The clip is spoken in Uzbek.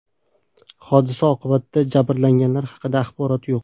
Hodisa oqibatida jabrlanganlar haqida axborot yo‘q.